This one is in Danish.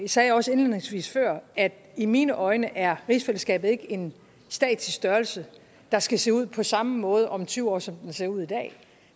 sagde jeg også indledningsvis at i mine øjne er rigsfællesskabet ikke en statisk størrelse der skal se ud på samme måde om tyve år som det ser ud i dag